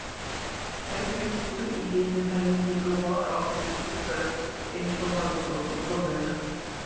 Þau bjuggu í hinum helmingi Brúar og áttu níu börn eins og Halldór og Sólveig.